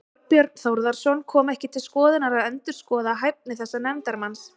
Þorbjörn Þórðarson: Kom ekki til skoðunar að endurskoða hæfi þessa nefndarmanns?